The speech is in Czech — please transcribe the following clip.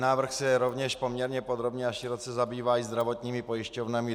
Návrh se rovněž poměrně podrobně a široce zabývá zdravotními pojišťovnami.